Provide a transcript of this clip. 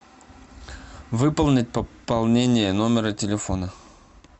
выполнить пополнение номера телефона